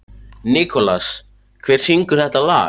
Nikolas, hver syngur þetta lag?